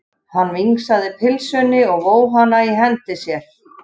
Hann vingsaði pylsunni og vóg hana í hendi sér.